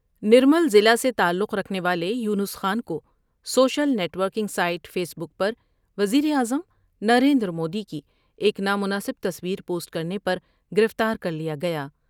نرمل ضلع سے تعلق رکھنے والے یونس خان کو social net working site face بک پر وزیراعظم نریندرمودی کی ایک نامناسب تصویر پوسٹ کرنے پر گرفتار کر لیا گیا ۔